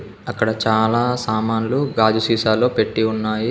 అక్కడ చాలా సామాన్లు గాజు సీసాలో పెట్టి ఉన్నాయి.